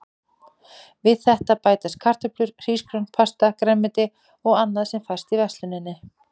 Við þetta bætast kartöflur, hrísgrjón, pasta, grænmeti og annað sem fæst í versluninni.